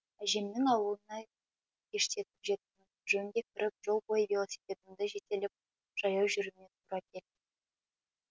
әжемнің ауылына кештетіп жет жөнге кіріп жол бойы велосипедімді жетелеп жаяу жүруіме тура келді